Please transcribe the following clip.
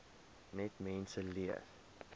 net mense leer